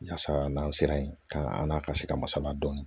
Yaasa n'an sera yen ka an n'a ka se ka masala dɔɔnin